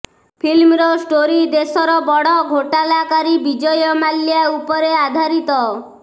ଫିଲ୍ମର ଷ୍ଟୋରୀ ଦେଶର ବଡ଼ ଘୋଟାଲାକାରୀ ବିଜୟ ମାଲ୍ୟା ଉପରେ ଆଧାରିତ